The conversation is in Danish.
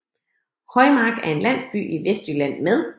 Højmark er en landsby i Vestjylland med